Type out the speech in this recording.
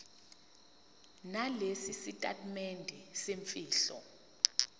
nalesi sitatimende semfihlo